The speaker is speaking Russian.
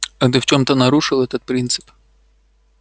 а ты в чём-то нарушил этот принцип